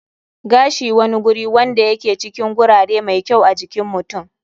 Gashi wani guri wanda ya ke cikin gurare mai kyau a jikin mutum.